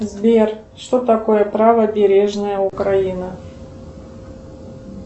сбер что такое правобережная украина